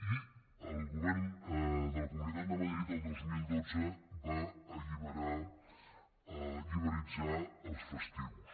i el govern de la comunitat de madrid el dos mil dotze va liberalitzar els festius